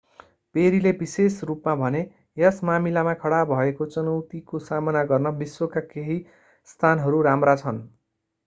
पेरीले विशेष रूपमा भने यस मामिलामा खडा भएको चुनौतीको सामना गर्न विश्वका केही स्थानहरू राम्रा छन्